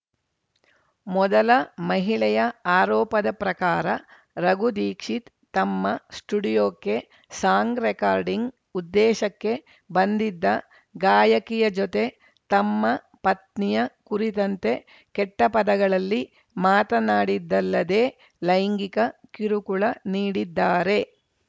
ಮೊದಲ ಮಹಿಳೆಯ ಆರೋಪದ ಪ್ರಕಾರ ರಘು ದೀಕ್ಷಿತ್‌ ತಮ್ಮ ಸ್ಟುಡಿಯೋಕ್ಕೆ ಸಾಂಗ್‌ ರೆಕಾರ್ಡಿಂಗ್‌ ಉದ್ದೇಶಕ್ಕೆ ಬಂದಿದ್ದ ಗಾಯಕಿಯ ಜೊತೆ ತಮ್ಮ ಪತ್ನಿಯ ಕುರಿತಂತೆ ಕೆಟ್ಟಪದಗಳಲ್ಲಿ ಮಾತನಾಡಿದ್ದಲ್ಲದೇ ಲೈಂಗಿಕ ಕಿರುಕುಳ ನೀಡಿದ್ದಾರೆ